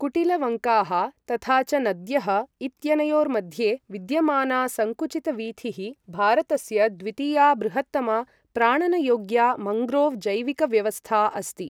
कुटिलवङ्काः तथा च नद्यः इत्यनयोर्मध्ये विद्यमाना सङ्कुचितवीथिः भारतस्य द्वितीया बृहत्तमा प्राणनयोग्या मन्ग्रोव् जैविकव्यवस्था अस्ति।